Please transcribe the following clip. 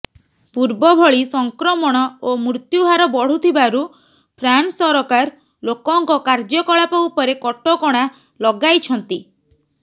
ପୂର୍ବଭଳି ସଂକ୍ରମଣ ଓ ମୃତ୍ୟୁହାର ବଢ଼ୁଥିବାରୁ ଫ୍ରାନ୍ସ ସରକାର ଲୋକଙ୍କ କାର୍ଯ୍ୟକଳାପ ଉପରେ କଟକଣା ଲଗାଇଛନ୍ତି